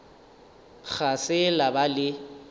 ga se la ba le